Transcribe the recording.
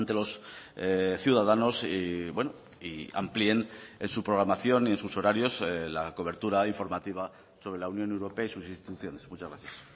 los ciudadanos y amplíen en su programación y sus horarios la cobertura informativa sobre la unión europea y sus instituciones muchas gracias